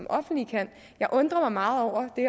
offentlige kan jeg undrer mig meget over det